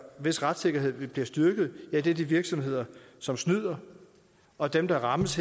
hvis retssikkerhed vil blive styrket er de virksomheder som snyder og dem der rammes